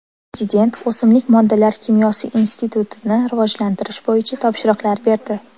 Prezident O‘simlik moddalari kimyosi institutini rivojlantirish bo‘yicha topshiriqlar berdi.